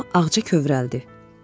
Amma Ağca kövrəldi.